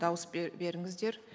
дауыс беріңіздер